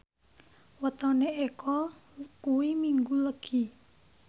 wetone Eko kuwi Minggu Legi